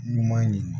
Ɲuman ye